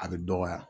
A bɛ dɔgɔya